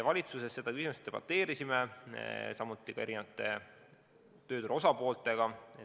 Valitsuses me selle küsimuse üle debateerisime, samuti arutasime asja erinevate tööturu osapooltega.